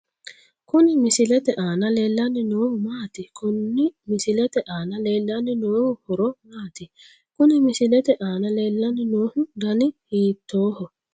Kuni misilete aana leellanni noohu maati? konni misilete aana leellanni noohu horo maati? Kuni misilete aana leellanni noohu dani hiittooho?